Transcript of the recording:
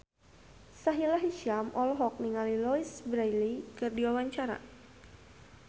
Sahila Hisyam olohok ningali Louise Brealey keur diwawancara